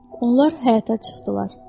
Onlar həyətə çıxdılar.